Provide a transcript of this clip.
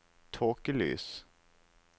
tåkelys